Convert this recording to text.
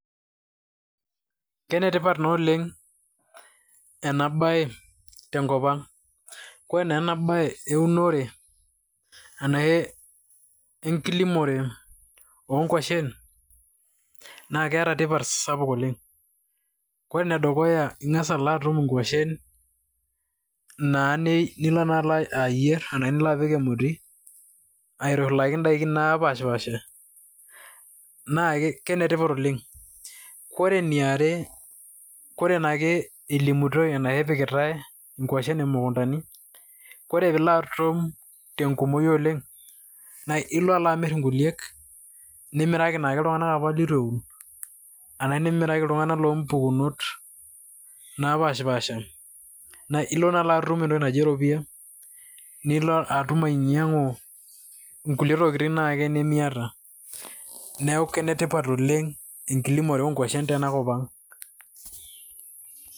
Kenetipat naa oleng ena bae tenkop aang, ore naa enabae eunore anaa enkilimore onkwashen naa keeta tipat sapuk oleng, ore enedukuya na ingasa alo atum nkwashen na ne nilo naakenye ayier, niloapik emoti aitushulaki ndakin naapashipaasha na kenetipat oleng, ore eniare ore naake elimitoi arashu epikitae ngwashen imukundani, ore peilo atum tenkumoi oleng na ilo alo amir nkuliek, nimiraki naa ltunganak lituen, arashu nimiraki ltunganak lompukunot naapashipasha na ilo nai atum entoki naji eropiya nilo atum ainyangu ngulie tokitin ake nemiata, neaku kenetipat oleng enkilimore oonkwashen tenakop aang.